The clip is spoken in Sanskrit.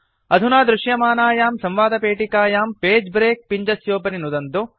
अधुना दृशमानायां संवादपेटिकायां पगे ब्रेक पिञ्जस्योपरि नुदन्तु